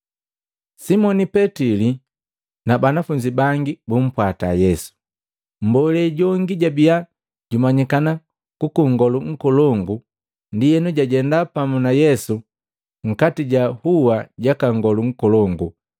Simoni Petili na banafunzi bangi bumpwata Yesu. Mmbolee jongi jabiya jumanyikana kuku Nngolu Nkolongu, ndienu jajenda pamu na Yesu nkati ja hua jaka Nngolu Nkolongu.